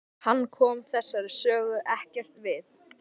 Hann kom þessari sögu ekkert við.